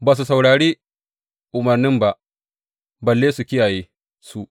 Ba su saurari umarnin ba, balle su kiyaye su.